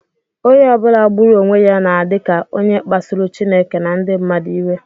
Onye ọ bụla gburu onwe ya na-adị ka onye kpasuru Chineke na ndị mmadụ iwe